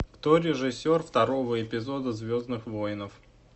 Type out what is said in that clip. кто режиссер второго эпизода звездных воинов